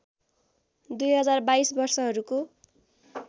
२०२२ वर्षहरूको